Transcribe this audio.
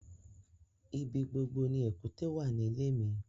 Ibí gbogbo ni èkútè wà ní ilẹ̀ mi